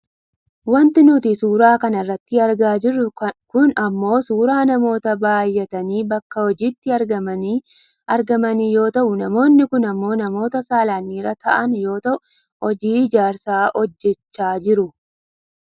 wanti nuti suuraaa kana irratti argaa jirru kun ammoo suuraa namoota bayyatanii bakka hojiitti argamanii yoo ta'u namoonni kun ammoo namoota saalaan dhiira ta'an yoo ta'u hojii ijaarsaa hojjachaa jiru.